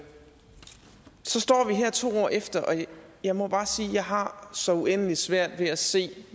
her to år efter og jeg må bare sige at jeg har så uendelig svært ved at se